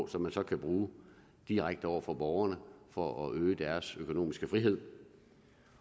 som så kan bruges direkte over for borgerne for at øge deres økonomiske frihed